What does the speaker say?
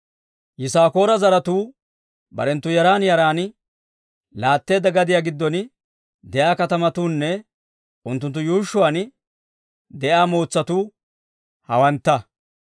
Yisaakoora zaratuu barenttu yaran yaran laatteedda gadiyaa giddon de'iyaa katamatuunne unttunttu yuushshuwaan de'iyaa mootsatuu hawantta.